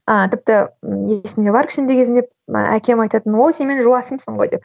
а тіпті ммм есімде бар кішкентай кезімде әкем айтатын о сен менің жуасымсың ғой деп